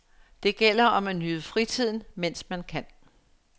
Det gælder om at nyde fritiden, mens man kan.